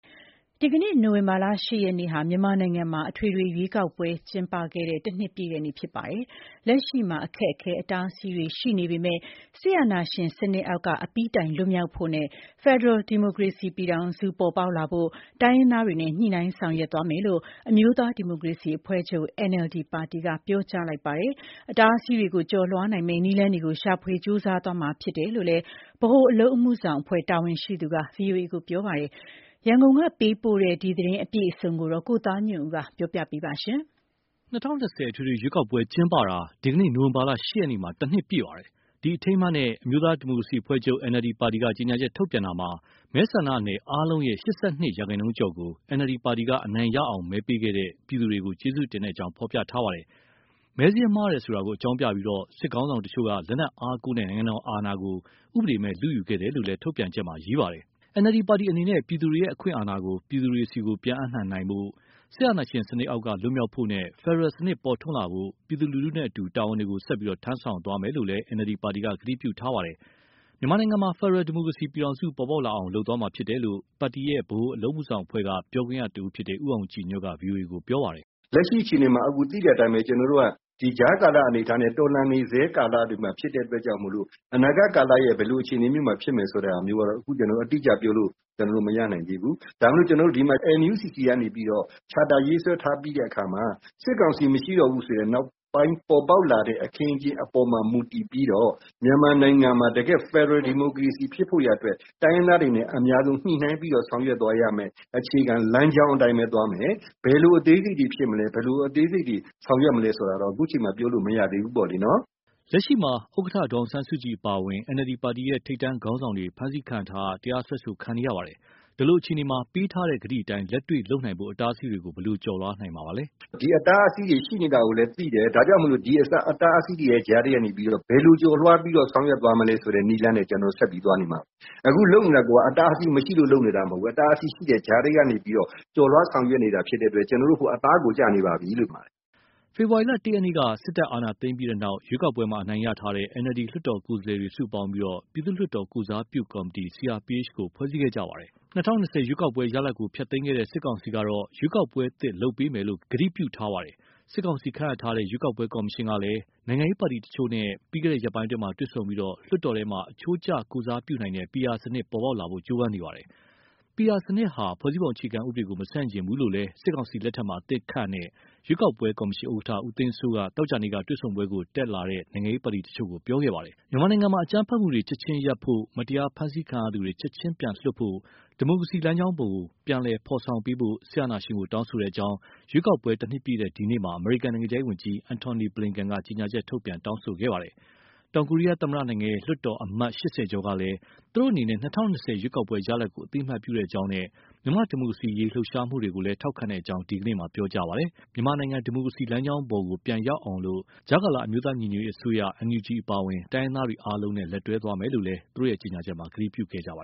ဒီနေ့ နိုဝင်ဘာ ၈ ရက်ဟာ မြန်မာနိုင်ငံမှာ အထွေထွေရွေးကောက်ပွဲ ကျင်းပခဲ့တဲ့ ၁ နှစ်ပြည့်တဲ့နေ့ ဖြစ်ပါတယ်။ လက်ရှိမှာ အခက်အခဲ၊ အတားအဆီးတွေ ရှိနေပေမယ့်လည်း စစ်အာဏာရှင်စနစ်အောက်က အပြီးတိုင် လွတ်မြောက်ဖို့နဲ့ ဖက်ဒရယ် ဒီမိုကရေစီပြည်ထောင်စု ပေါ်ပေါက်လာဖို့ တိုင်းရင်းသားတွေနဲ့ ညှိနှိုင်းဆောင်ရွက်သွားမယ်လို့ အမျိုးသားဒီမိုကရေစီအဖွဲ့ချုပ် ပါတီက ပြောကြားလိုက်ပါတယ်။ အတားအဆီးတွေကို ကျော်လွှားနိုင်မယ့် နည်းလမ်းတွေကို ရှာဖွေကြိုးစားသွားမှာ ဖြစ်တယ်လို့ ဗဟိုအလုပ်အမှုဆောင်အဖွဲ့ တာဝန်ရှိသူက ဗွီအိုအေကို ပြောပါတယ်။ ရန်ကုန်ကပေးပို့တဲ့ ဒီအကြောင်းအပြည့်အစုံကို ကိုသားညွန့်ဦး ပြောပြမှာပါ။ ၂၀၂၀ အထွေထွေရွေးကောက်ပွဲ ကျင်းပတာ ဒီနေ့ နိုဝင်ဘာ ၈ ရက်မှာ ၁ နှစ်ပြည့်ပါတယ်။ ဒီအထိမ်းအမှတ်နဲ့ အမျိုးသားဒီမိုကရေစီအဖွဲ့ချုပ် ပါတီက ကြေညာချက် ထုတ်ပြန်တာမှာ မဲဆန္ဒနယ်အားလုံးရဲ့ ၈၂ ရာခိုင်နှုန်းကျော်ကို NLD ပါတီက အနိုင်ရအောင် မဲပေးခဲ့တဲ့ ပြည်သူတွေကို ကျေးဇူးတင်ကြောင်း ဖော်ပြထားပါတယ်။ မဲစာရင်းမှားတယ်ဆိုတာ အကြောင်းပြပြီး စစ်ခေါင်းဆောင်တချို့က လက်နက်အားကိုးနဲ့ နိုင်ငံတော်အာဏာကို ဥပဒေမဲ့ လုယူခဲ့တယ်လို့လည်း ထုတ်ပြန်ချက်မှာ ရေးထားပါတယ်။ NLD ပါတီအနေနဲ့ ပြည်သူတွေရဲ့ အခွင့်အာဏာကို ပြည်သူတွေဆီ ပြန်အပ်နှံနိုင်ဖို့၊ စစ်အာဏာရှင်စနစ်အောက်က လွတ်မြောက်ဖို့နဲ့ ဖက်ဒရယ်စနစ် ပေါ်ထွန်းလာဖို့ ပြည်သူလူထုနဲ့အတူ တာဝန်ကို ဆက်ပြီး ထမ်းဆောင်သွားမယ်လို့လည်း ကတိပြုထားပါတယ်။ မြန်မာနိုင်ငံမှာ ဖက်ဒရယ် ဒီမိုကရေစီပြည်ထောင်စု ပေါ်ပေါက်လာအောင် လုပ်သွားမှာဖြစ်တယ်လို့ ပါတီရဲ့ ဗဟိုအလုပ်အမှုဆောင်အဖွဲ့က ပြောခွင့်ရတဦးဖြစ်တဲ့ ဦးအောင်ကြည်ညွန့်က ဗွီအိုအေကို ပြောပါတယ်။ “လက်ရှိအခြေအနေမှာ သိတဲ့အတိုင်းပဲ ကျနော်တို့က ကြားကာလ အနေအထားနဲ့ တော်လှန်နေဆဲ ကာလတွေမှာ ဖြစ်တဲ့အတွက်ကြောင့်မို့ အနာဂတ်ကာလရဲ့ ဘယ်လိုအခြေအနေမျိုးမှာ ဖြစ်မယ်ဆိုတာ အတိအကျပြောလို့ မရနိုင်သေးဘူး။ ဒါပေမယ့် ကျနော်တို့ ဒီမှာ NUCC ကနေပြီးတော့ Charter ရေးဆွဲထားပြီးတဲ့အခါမှာ စစ်ကောင်စီမရှိတော့တဲ့ နောက်ပိုင်းအခင်းအကျင်း အပေါ်မှာ မူတည်ပြီးတော့ မြန်မာနိုင်ငံမှာ တကယ့် ဖက်ဒရယ်ဒီမိုကရေစီ ဖြစ်ဖို့ရာအတွက် တိုင်းရင်းသားတွေနဲ့ အများဆုံးညှိနှိုင်းပြီး ဆောင်ရွက်သွားရမယ့် အခြေခံလမ်းကြောင်းအတိုင်းပဲ သွားမယ်။ ဘယ်လို အသေးစိတ်တွေဖြစ်မလဲ၊ ဆောင်ရွက်မလဲဆိုတာ အခုအချိန်မှာ ပြောလို့မရသေးဘူးပေါ့။” လက်ရှိမှာ ဥက္ကဋ္ဌ ဒေါ်အောင်ဆန်းစုကြည် အပါအဝင် NLD ပါတီရဲ့ ခေါင်းဆောင်တွေ ဖမ်းဆီးခံထားရ၊ တရားစွဲဆိုခံနေရပါတယ်။ ဒီလိုအခြေအနေမှာ ပေးတဲ့ကတိအတိုင်း လက်တွေ့လုပ်နိုင်ဖို့ အတားအဆီးတွေကို ဘယ်လိုကျော်လွှားနိုင်မှာပါလဲ။ “ဒီအတားအဆီးတွေ ရှိနေတာကိုလည်း သိတယ်၊ ဒါကြောင့်မို့ ဒီအတားအဆီးတွေ ကြားထဲက ဘယ်လိုကျော်လွှားပြီး ဆောင်ရွက်သွားမလဲဆိုတဲ့ နည်းလမ်းနဲ့ ကျနော်တို့ ဆက်ပြီးသွားနေမှာပါ။ အခုလုပ်နေတာကိုက အတားအဆီးမရှိလို့ လုပ်နေတာ မဟုတ်ဘူး၊ အတားအဆီး ရှိတဲ့ကြားထဲကနေ ကျော်လွှားဆောင်ရွက်နေတာဖြစ်လို့ ကျနော်တို့ အခု အသားကိုကျနေပါပြီ။” ဖေဖော်ဝါရီလ ၁ ရက်က စစ်တပ်အာဏာသိမ်းခဲ့ပြီးနောက် ရွေးကောက်ပွဲမှာ အနိုင်ရထားတဲ့ NLD လွှတ်တော်ကိုယ်စားလှယ်တွေ စုပေါင်းပြီး ပြည်သူ့လွှတ်တော် ကိုယ်စားပြုကော်မတီ ကို ဖွဲ့စည်းခဲ့ကြပါတယ်။ ၂၀၂၀ ရွေးကောက်ပွဲ ရလဒ်ကို ဖျက်သိမ်းခဲ့တဲ့ စစ်ကောင်စီကတော့ ရွေးကောက်ပွဲအသစ် လုပ်ပေးမယ်လို့ ကတိပြုထားပါတယ်။ စစ်ကောင်စီ ခန့်အပ်ထားတဲ့ ရွေးကောက်ပွဲကော်မရှင်ကလည်း နိုင်ငံရေးပါတီတချို့နဲ့ ပြီးခဲ့တဲ့ ရက်ပိုင်းတွေမှာ တွေ့ဆုံပြီး လွှတ်တော်ထဲမှာ အချိုးကျကိုယ်စားပြုနိုင်တဲ့ PR စနစ် ပေါ်ပေါက်လာဖို့ ကြိုးပမ်းနေပါတယ်။ PR စနစ်ဟာ ဖွဲ့စည်းပုံအခြေခံဥပဒေကို မဆန့်ကျင်ဘူးလို့လည်း စစ်ကောင်စီလက်ထက်မှာ အသစ်ခန့်အပ်ထားတဲ့ ရွေးကောက်ပွဲကော်မရှင် ဥက္ကဋ္ဌ ဦးသိန်းစိုးက သောကြာနေ့က တွေ့ဆုံပွဲကို တက်ရောက်လာတဲ့ နိုင်ငံရေးပါတီတချို့ကို ပြောကြားခဲ့ပါတယ်။ မြန်မာနိုင်ငံမှာ အကြမ်းဖက်မှုတွေ ချက်ချင်းရပ်ဖို့၊ မတရားဖမ်းဆီးခံရသူတွေ ချက်ချင်းပြန်လွှတ်ဖို့၊ ဒီမိုကရေစီလမ်းကြောင်းကို ပြန်ဖော်ဆောင်ပေးဖို့ စစ်အာဏာရှင်ကို တောင်းဆိုကြောင်း ရွေးကောက်ပွဲ တနှစ်ပြည့်တဲ့ ဒီနေ့မှာ အမေရိကန် နိုင်ငံခြားရေးဝန်ကြီး Antony J. Blinken က ကြေညာချက်ထုတ်ပြန် တောင်းဆိုခဲ့ပါတယ်။ တောင်ကိုရီးယားသမ္မတနိုင်ငံရဲ့ လွှတ်တော်က အမတ် ၈၀ ကျော်ကလည်း သူတို့အနေနဲ့ ၂၀၂၀ ရွေးကောက်ပွဲရလဒ်ကို အသိအမှတ်ပြုကြောင်းနဲ့ မြန်မာ့ဒီမိုကရေစီအရေး လှုပ်ရှားမှုတွေကိုလည်း ထောက်ခံကြောင်း ဒီနေ့မှာ ပြောကြားခဲ့ပါတယ်။ မြန်မာနိုင်ငံ ဒီမိုကရေစီလမ်းကြောင်းပေါ် ပြန်ရောက်အောင် အမျိုးသားညီညွတ်ရေးအစိုးရ အပါအဝင် တိုင်းရင်းသားအားလုံးနဲ့ လက်တွဲသွားမယ်လို့လည်း သူတို့ကြေညာချက်မှာ ကတိပြုခဲ့ကြပါ